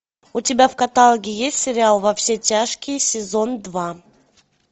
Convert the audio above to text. у тебя в каталоге есть сериал во все тяжкие сезон два